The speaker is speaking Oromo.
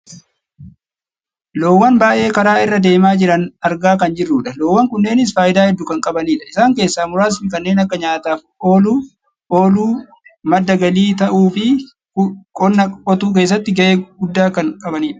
loowwan baayyee karaa irra deemaa jiran argaa kan jirrudha. loowwan kunneenis fayidaa hedduu kan qabanidha, isaan keessaa muraasni kanneen akka nyaataaf ooluu, madda galii ta'uufi qonna qotuu keessattis gahe guddaa kan qabanidha.